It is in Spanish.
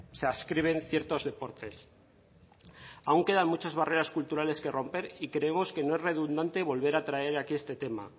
se adscriben ciertos deportes aún quedan muchas barreras culturales que romper y creemos que no es redundante volver a traer aquí este tema